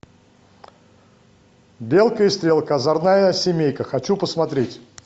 белка и стрелка озорная семейка хочу посмотреть